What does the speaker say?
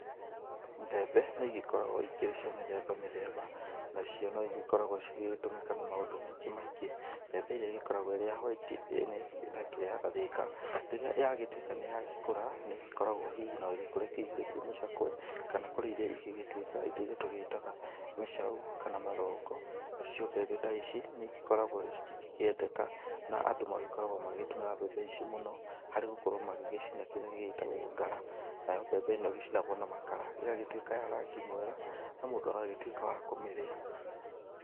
Mbembe, nĩigĩkoragwo ikĩrĩ cia mĩthemba mĩthemba, nacio noigĩkoragwo cigĩgĩtũmĩka na maũndũ maingĩ maingĩ. Mbembe ĩrĩa igĩkoragũo ĩrĩ ya white nĩ, ĩtakĩrĩ ya gathĩka, rĩrĩa yagĩtuĩka nĩyagĩkũra, nĩgĩkoragwo hihi noĩgĩkũre ikĩihũrĩtie mũcakũe, kana kũrĩ iria igĩgĩtuĩkaga ĩtairia tũgĩtaga mĩcau, kana mathongo, nacio mbembe ta ici, nĩikoragwo citingĩkĩendeka, na andũ magĩkoragwo magĩgĩtũmĩra mbembe ici mũno, harĩ gũkorwo magĩgĩcina kĩrĩa gĩgĩtagwo ngara, nayo mbembe ĩno ĩgĩcinagwo na makara, na ĩgagĩtuĩka ya rangi mwega, na mũndũ agagĩtuĩka wa kũmĩrĩa.